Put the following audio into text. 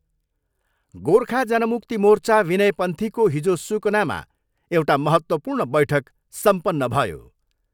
गोर्खा जनमुक्ति मोर्चा विनय पन्थीको हिजो सुकनामा एउटा महत्त्वपूर्ण बैठक सम्पन्न भयो।